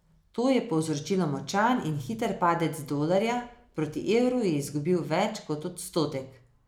To je povzročilo močan in hiter padec dolarja, proti evru je izgubil več kot odstotek.